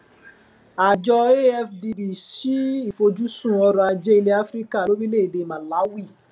àjọ afdb ṣí ìfojúsun ọrọajé ilẹ áfíríkà lórílẹèdè màláwì